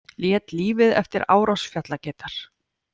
Lét lífið eftir árás fjallageitar